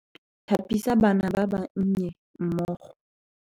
Tlhapisa bana ba ba nnye mmogo.